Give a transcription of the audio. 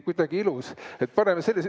Kuidagi ilus!